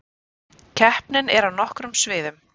Keppnin er á nokkrum sviðum